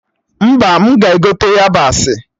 Mba, m ga-egote yabasị